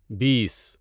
بیس